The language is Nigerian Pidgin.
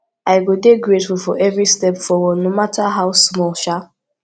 i go dey grateful for every step forward no mata how small um